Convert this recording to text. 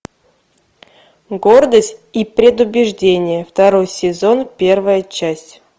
гордость и предубеждение второй сезон первая часть